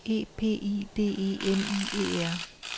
E P I D E M I E R